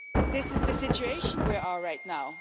This is the situation we are in right now.